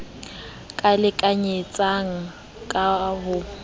k a lekanyetsang ka ho